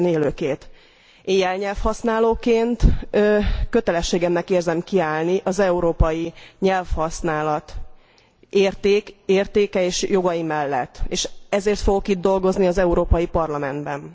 Én jelnyelvhasználóként kötelességemnek érzem kiállni az európai nyelvhasználat értéke és jogai mellett és ezért fogok itt dolgozni az Európai Parlamentben.